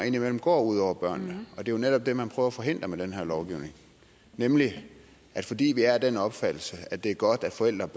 indimellem går ud over børnene det er netop det man prøver at forhindre med den her lovgivning fordi vi er af den opfattelse at det er godt at forældre